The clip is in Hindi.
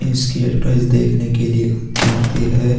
इसकी एडवटाइज देखने के लिए आते हैं।